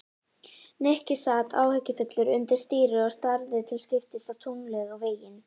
Nikki sat áhyggjufullur undir stýri og starði til skiptist á tunglið og veginn.